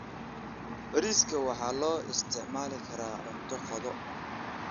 Bariiska waxaa loo isticmaali karaa cunto qado.